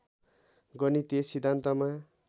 गणितीय सिद्धान्तमा